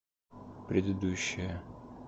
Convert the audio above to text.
предыдущая